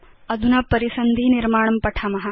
अधुना परिसन्धि निर्माणं पठाम